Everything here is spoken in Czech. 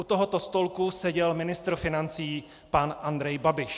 U tohoto stolku seděl ministr financí pan Andrej Babiš.